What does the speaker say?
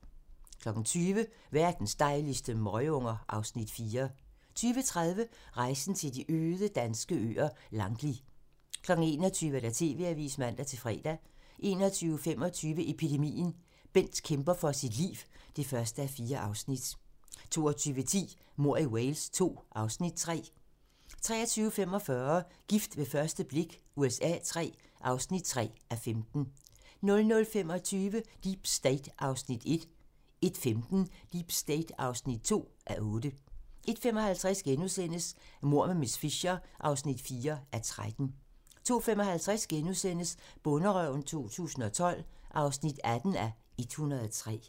20:00: Verdens dejligste møgunger (Afs. 4) 20:30: Rejsen til de øde danske øer - Langli 21:00: TV-avisen (man-fre) 21:25: Epidemien - Bent kæmper for sit liv (1:4) 22:10: Mord i Wales II (Afs. 3) 23:45: Gift ved første blik USA III (3:15) 00:25: Deep State (1:8) 01:15: Deep State (2:8) 01:55: Mord med miss Fisher (4:13)* 02:55: Bonderøven 2012 (18:103)*